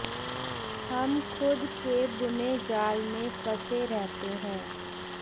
हम खुद के बुने जाल में फंसे रहते हैं